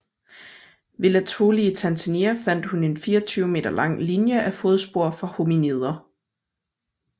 Ved Laetoli i Tanzania fandt hun en 24 m lang linje af fodspor fra hominider